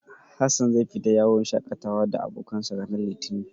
Hassan zai fita yawon shaƙatawa da abokansa, ranar Litinin.